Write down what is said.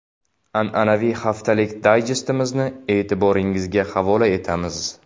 An’anaviy haftalik dayjestimizni e’tiboringizga havola etamiz.